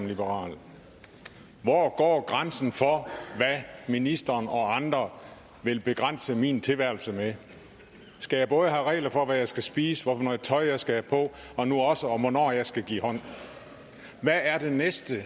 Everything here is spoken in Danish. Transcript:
liberal hvor går grænsen for hvad ministeren og andre vil begrænse min tilværelse med skal jeg både have regler for hvad jeg skal spise hvad for noget tøj jeg skal have på og nu også om hvornår jeg skal give hånd hvad er det næste